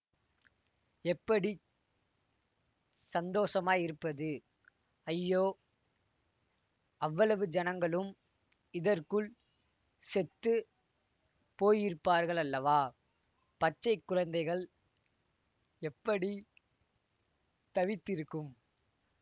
எப்படி சந்தோஷமாயிருப்பது ஐயோ அவ்வளவு ஜனங்களும் இதற்குள் செத்து போயிருப்பார்களல்லவா பச்சை குழந்தைகள் எப்படி தவித்திருக்கும்